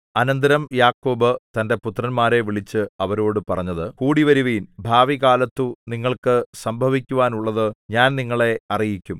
അനന്തരം യാക്കോബ് തന്റെ പുത്രന്മാരെ വിളിച്ച് അവരോടു പറഞ്ഞത് കൂടിവരുവിൻ ഭാവികാലത്തു നിങ്ങൾക്ക് സംഭവിക്കാനുള്ളത് ഞാൻ നിങ്ങളെ അറിയിക്കും